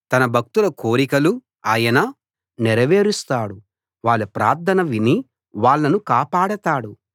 తన భక్తుల కోరికలు ఆయన నెరవేరుస్తాడు వాళ్ళ ప్రార్థన విని వాళ్ళను కాపాడతాడు